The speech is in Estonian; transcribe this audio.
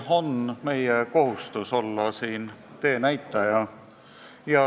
On meie kohustus olla siin teenäitaja.